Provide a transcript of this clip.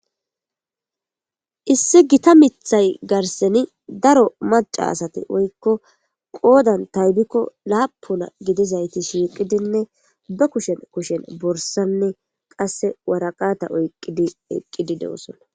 issi gita mithay garseni daro maca asat woykko qoodan taybikko laapula gidizayti shiiqidinne ba kushen kushen borsanne qasse waraqata oyqqidi eqqidi de7osona